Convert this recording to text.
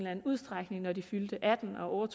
anden udstrækning når de fylder atten år og